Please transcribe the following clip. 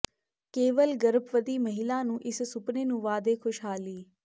ਕੇਵਲ ਗਰਭਵਤੀ ਮਹਿਲਾ ਨੂੰ ਇਸ ਸੁਪਨੇ ਨੂੰ ਵਾਅਦੇ ਖੁਸ਼ਹਾਲੀ